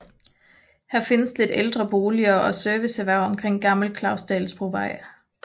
Her findes lidt ældre boliger og serviceerhverv omkring Gammel Klausdalsbrovej